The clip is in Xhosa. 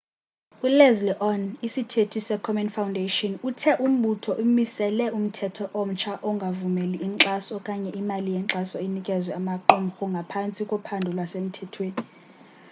uleslie aun isithethi se komen foundation uthe umbutho umisele umthetho omtsha ongavumeli inkxaso okanye imali yenkxaso inikezwe amaqumhru aphantsi kophando lwasemthethweni